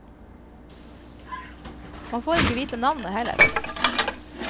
Man får ikke vite navnet heller.